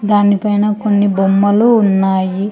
దాని పైన కొన్ని బొమ్మలు ఉన్నాయి.